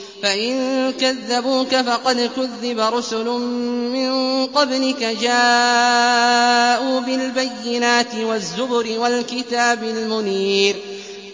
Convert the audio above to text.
فَإِن كَذَّبُوكَ فَقَدْ كُذِّبَ رُسُلٌ مِّن قَبْلِكَ جَاءُوا بِالْبَيِّنَاتِ وَالزُّبُرِ وَالْكِتَابِ الْمُنِيرِ